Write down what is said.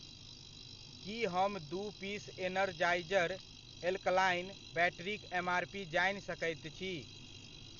की हम दू piece Energizer alkaline बैटरीक एमआरपी जानि सकैत छी ?